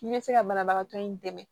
N'i bɛ se ka banabagatɔ in dɛmɛ